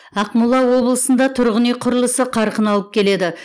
ақмола облысында тұрғын үй құрылысы қарқын алып келеді